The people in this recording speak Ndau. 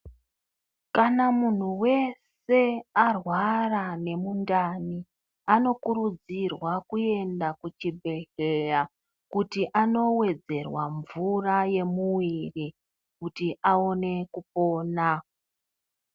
Kana munhu wese arwara nemundani anokurudzirwa kuenda kuchibhedhleya kuti anowedzerwa mvura yemuwiri kuti aone kupona.